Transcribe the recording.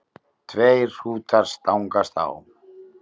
Tveir hrútar stangast á.